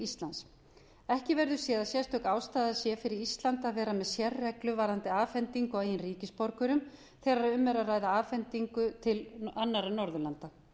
íslands ekki verður séð að sérstök ástæða sé fyrir ísland til að vera með sérreglu varðandi afhending á eigin ríkisborgurum þegar um er að ræða afhendingu til landa eins og norðurlandanna er því eins